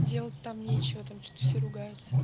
делать там нечего там что-то все ругаются